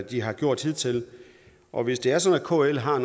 de har gjort hidtil og hvis det er sådan at kl har